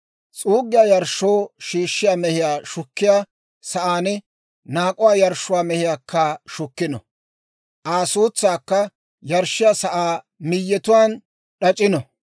S'uuggiyaa yarshshoo shiishshiyaa mehiyaa shukkiyaa sa'aan naak'uwaa yarshshuwaa mehiyaakka shukkino; Aa suutsaakka yarshshiyaa sa'aa miyyetuwaan d'ac'ino.